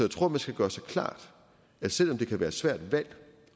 tror at man skal gøre sig klart at selv om det kan være et svært valg